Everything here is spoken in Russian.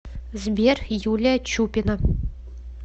сбер юлия чупина